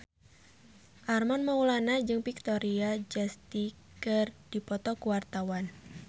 Armand Maulana jeung Victoria Justice keur dipoto ku wartawan